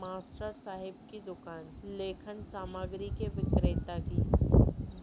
master साहेब की दुकान लेखन सामग्री के विक्रेता की